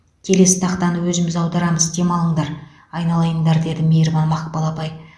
келесі тақтаны өзіміз аударамыз демалыңдар айналайындар деді мейірбан мақпал апай